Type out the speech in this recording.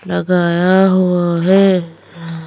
लगाया हुआ है।